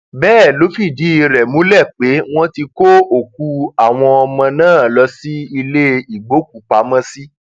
bẹẹ ló fìdí rẹ múlẹ pé wọn ti kó òkú àwọn ọmọ náà lọ sí ilé ìgbókùúpamọsí